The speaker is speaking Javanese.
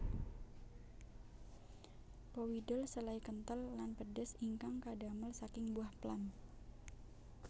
Powidl selai kentel lan pedes ingkang kadamel saking buah plum